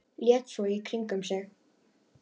Leit svo í kringum mig.